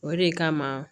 O de kama